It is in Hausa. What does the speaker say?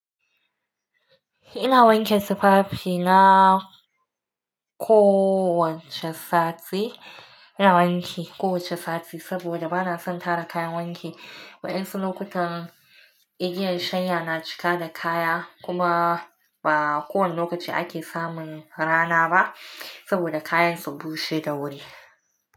Ina wanke tufafi na kowacce sati, ina wanke kowacce sati saboda banason tara kayan wanki. Wa'yansu lokutan igiyan shanya na cika da kaya kuma ba kowane lokaci ake samun rana ba saboda kayan su bushe da wuri.